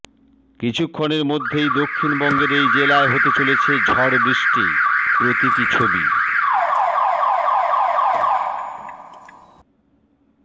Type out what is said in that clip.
কিছুক্ষণের মধ্যেই দক্ষিণবঙ্গের এই জেলায় হতে চলেছে ঝড়বৃষ্টি প্রতীকী ছবি